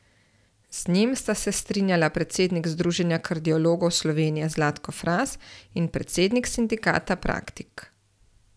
Z njim sta se strinjala predsednik Združenja kardiologov Slovenije Zlatko Fras in predsednik sindikata Praktik.